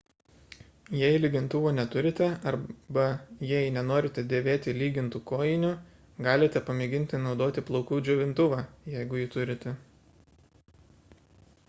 jei lygintuvo neturite arba jei nenorite dėvėti lygintų kojinių galite pamėginti naudoti plaukų džiovintuvą jeigu jį turite